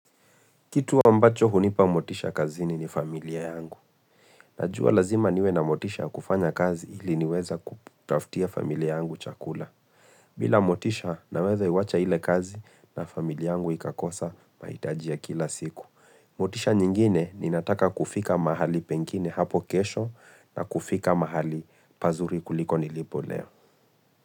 Kitu ambacho hunipa motisha kazini ni familia yangu. Najua lazima niwe na motisha kufanya kazi ili niweza kutaftia familia yangu chakula. Bila motisha naweza iwacha ile kazi na familia yangu ikakosa maitajia kila siku. Motisha nyingine ninataka kufika mahali pengine hapo kesho na kufika mahali pazuri kuliko nilipo leo.